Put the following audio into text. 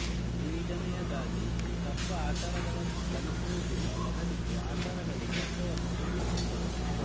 ಎಇಡನೆಯದಾಗಿ ತತ್ವ ಆಚಾರಗಳನ್ನು ಕಲಿಸುವದಲ್ಲ ಬದಲಿಗೆ ಅಚಾರಗಳು ತತ್ವವನ್ನು ರೂಪಿಸುತ್ತದೆ